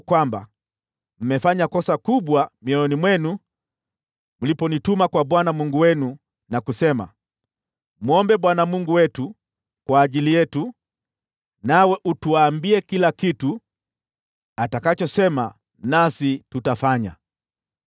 kwamba mmefanya kosa kubwa mioyoni mwenu mliponituma kwa Bwana Mungu wenu na kusema, ‘Mwombe Bwana Mungu wetu kwa ajili yetu, nawe utuambie kila kitu atakachosema, nasi tutafanya.’